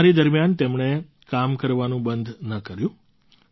બીમારી દરમિયાન તેમણે કામ કરવાનું બંધ ન કર્યું